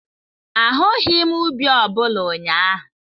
Ahụghị m ubi ọ bụla ụnyaahụ.